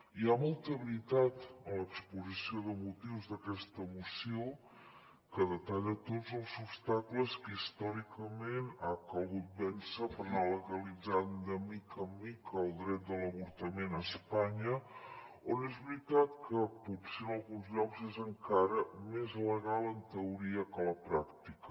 hi ha molta veritat en l’exposició de motius d’aquesta moció que detalla tots els obstacles que històricament ha calgut vèncer per anar legalitzant de mica en mica el dret de l’avortament a espanya on és veritat que potser en alguns llocs és encara més legal en teoria que a la pràctica